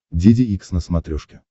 деде икс на смотрешке